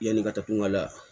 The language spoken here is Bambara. Yanni ka taa kun ka la